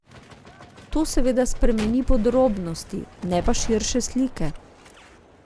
To seveda spremeni podrobnosti, ne pa širše slike.